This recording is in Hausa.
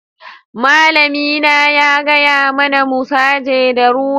Malami na ya gaya mana mu saje da rula.